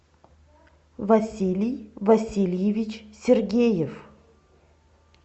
василий васильевич сергеев